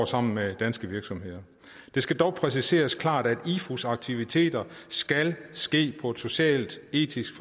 sammen med danske virksomheder det skal dog præciseres klart at ifus aktiviteter skal ske på et socialt etisk